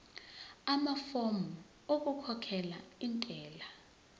amafomu okukhokhela intela